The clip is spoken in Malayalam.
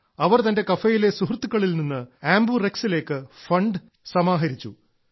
അവർ തന്റെ കഫേയിലെ സുഹൃത്തുക്കളിൽ നിന്ന് ആംബുറെക്സിലേക്ക് ഫണ്ട് സമാഹരിച്ചു